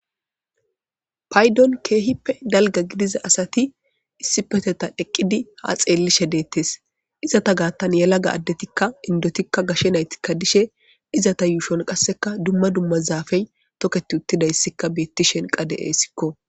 Paydon keehippe dalgGa gidiza asati issipeteta eqqidi ha xeellishe deettes. Izata gaattan yelaga addetikka inddotikka gashe naytikka dishe izata yuushon qasseka dumma dumma zaafey toketti uttidayssikka beettishen qa de'eessikko.